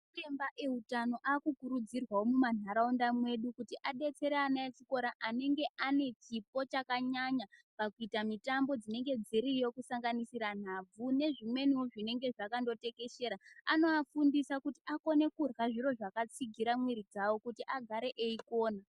Ana chiremba eutano aakukurudzirwawo mumanharaunda mwedu kuti adetsere ana echikora anenge ane chipo chakanyanya pakuita mitambo dzinenge dziriyo kusanganisira nhabvu nezimweniwo zvinenge zvakandotekweshera. Anoafundisa kutu akone kurya zviro zvakatsigira mwiri dzawo kuti agare eikona.